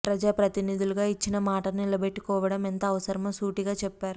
ప్రజా ప్రతినిధులుగా ఇచ్చిన మాటను నిలబెట్టుకోవడం ఎంత అవసరమో సూటిగా చెప్పారు